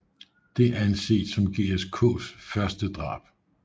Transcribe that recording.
Det anses som GSKs første drab